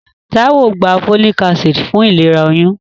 Táíwò gba folic acid fún ìlera oyún.